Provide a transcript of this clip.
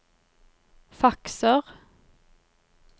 fakser